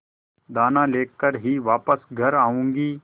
दाना लेकर ही वापस घर आऊँगी